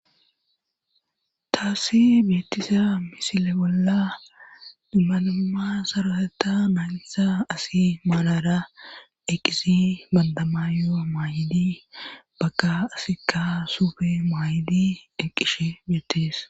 taassi beettisa misile bolla dummanama saraeta mayntsa asi maalara eqqisi bandamayo maayidi bakka asikka sufe maayidi eqqishe beetties